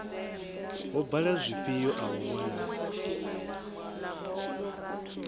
ho bala zwifhio avhavho na